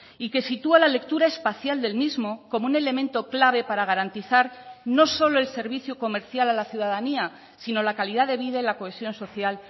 y que sitúa la lectura espacial del mismo como un elemento clave para garantizar no solo el servicio comercial a la ciudadanía sino la calidad de vida y la cohesión social